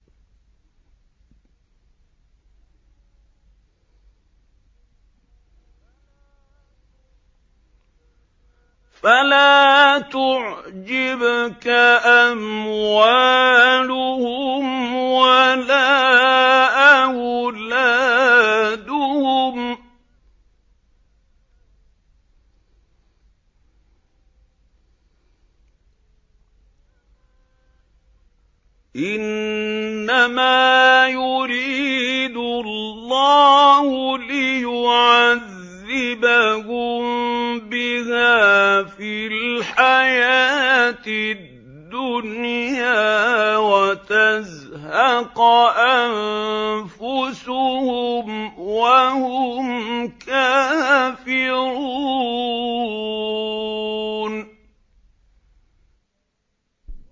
فَلَا تُعْجِبْكَ أَمْوَالُهُمْ وَلَا أَوْلَادُهُمْ ۚ إِنَّمَا يُرِيدُ اللَّهُ لِيُعَذِّبَهُم بِهَا فِي الْحَيَاةِ الدُّنْيَا وَتَزْهَقَ أَنفُسُهُمْ وَهُمْ كَافِرُونَ